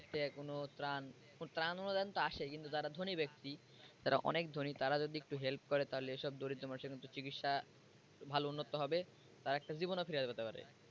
সরকার থেকে কোন ত্রাণ ত্রাণ অনুদান তো আসে কিন্তু যারা ধনী ব্যক্তি যারা অনেক ধনী তারা যদি একটু help করে তাহলে এসব দরিদ্র মানুষের কিন্তু চিকিৎসা ভালো উন্নত হবে তার একটা জীবনে ফিরে যেতে পারবে।